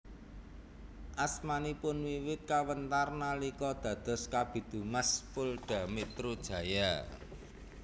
Asmanipun wiwit kawentar nalika dados Kabid Humas Polda Metro Jaya